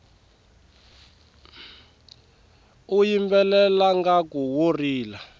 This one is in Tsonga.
u yimbelela ngaku wo rila